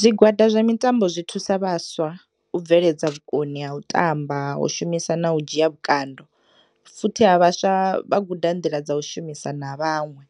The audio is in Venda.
Zwigwada zwa mitambo zwi thusa vhaswa u bveledza vhukoni ha u tamba u shumisa na u dzhiya vhukando futhi ha vhaswa vhaguda nḓila dza ushumisa na vhaṅwe